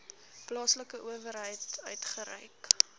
plaaslike owerheid uitgereik